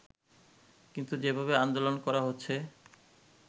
কিন্তু যেভাবে আন্দোলন করা হচ্ছে